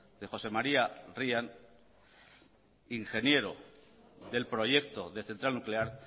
de josé maría ryan ingeniero del proyecto de central nuclear